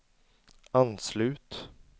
anslut